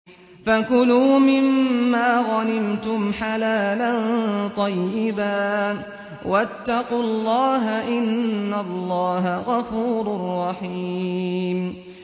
فَكُلُوا مِمَّا غَنِمْتُمْ حَلَالًا طَيِّبًا ۚ وَاتَّقُوا اللَّهَ ۚ إِنَّ اللَّهَ غَفُورٌ رَّحِيمٌ